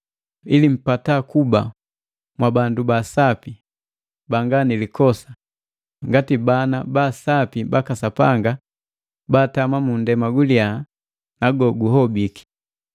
ili mpata kuba mwabandu ba sapi, banga nilikosa, ngati bana ba sapi baka Sapanga baatama mu ndema guliya na goguhobiki. Mwing'ala kwabu ngati ndondu ejimulika kunani,